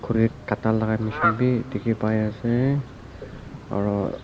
khuri kata laga mechine vi dekhi pai asa aru.